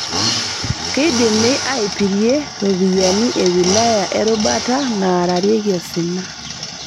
Keidimi aipirie ropiyiani e wilaya e rubata naararieki osina